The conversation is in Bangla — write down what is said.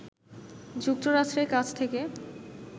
যুক্তরাষ্ট্রের কাছ থেকে